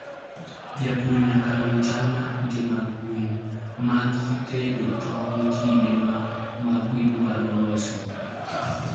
Jopur nyaka non chal mar kute mag gwen ma githedho tong' e kinde ma ma gidwaro losogi.